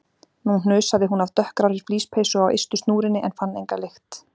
Nú hnusaði hún af dökkgrárri flíspeysu á ystu snúrunni en fann enga lykt.